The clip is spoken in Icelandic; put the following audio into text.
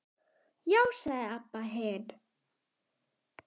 Já, sagði Abba hin.